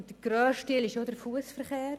Der grösste Teil ist der Fussverkehr.